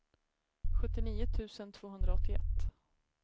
sjuttionio tusen tvåhundraåttioett